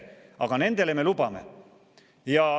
Aga nendele me lubame.